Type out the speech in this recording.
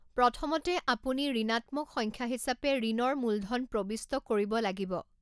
প্ৰথমতে, আপুনি ঋণাত্মক সংখ্যা হিচাপে ঋণৰ মূলধন প্ৰবিষ্ট কৰিব লাগিব।